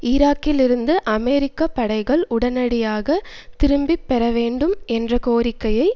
ஈராக்கில் இருந்து அமெரிக்க படைகள் உடனடியாக திரும்ப பெறவேண்டும் என்ற கோரிக்கையை